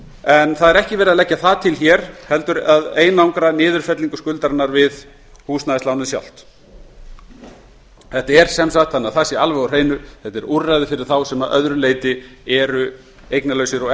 ekki er verið að leggja það til hér heldur að einangra niðurfellingu skuldarinnar við húsnæðislánið sjálft þetta er sem sagt þannig að það sé alveg á hreinu úrræði fyrir þá sem að öðru leyti eru eignalausir og